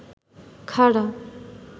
খাড়া